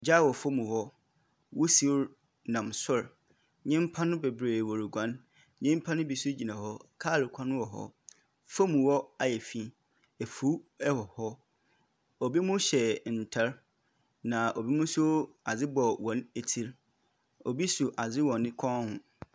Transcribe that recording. Gya wɔ fam hɔ. Wusie nam sor. Nyimpa no bebree wɔroguan. Nyimpa no bi nso gyina hɔ. Kaar kwan wɔ hɔ. Fam hɔ ayɛ fi. Efuw wɔ hɔ. Ebinom hyɛ ntar, na ebinom nso, adze bɔ hɔn tsir. Obi so adze wɔ ne kɔn ho.